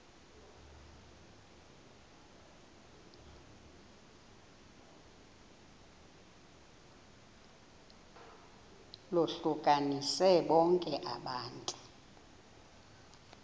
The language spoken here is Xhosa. lohlukanise bonke abantu